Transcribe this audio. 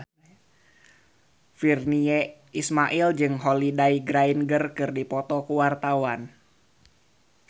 Virnie Ismail jeung Holliday Grainger keur dipoto ku wartawan